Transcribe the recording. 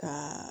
Ka